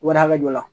Wari hakɛ jɔ la